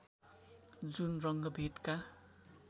जुन रङ्गभेदका